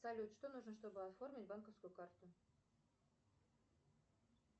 салют что нужно чтобы оформить банковскую карту